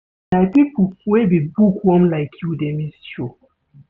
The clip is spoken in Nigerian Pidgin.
Na pipo wey be book-worm like you dey miss show.